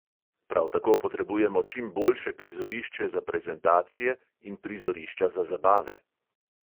Prav tako potrebujemo čim boljše prizorišče za prezentacije in prizorišča za zabave.